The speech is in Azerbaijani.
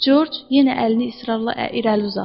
George yenə əlini israrla irəli uzatdı.